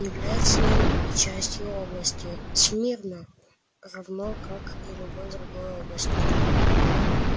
является он и частью области смирно равно как и любой другой области